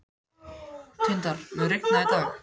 Tindar, mun rigna í dag?